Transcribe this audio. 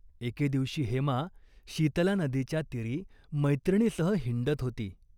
एके दिवशी हेमा शीतला नदीच्या तीरी मैत्रिणीसह हिंडत होती.